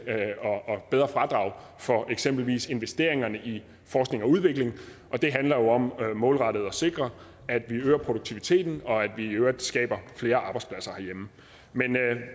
og bedre fradrag for eksempelvis investeringerne i forskning og udvikling det handler jo om målrettet at sikre at vi øger produktiviteten og at vi i øvrigt skaber flere arbejdspladser herhjemme men